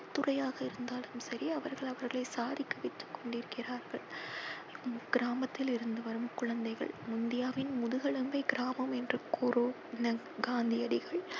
துறையாக இருந்தாலும் சரி அவர்கள் அங்கு சாதித்து கொண்டிருக்கிரார்கள் இக்கிராமத்திலிருந்து வரும் குழந்தைகள். இந்தியாவின் முதுகெலும்பே கிராமம் என்று கூறும் நம் காந்தி அடிகள்.